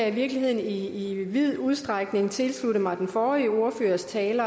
i virkeligheden i i vid udstrækning tilslutte mig den forrige ordførers tale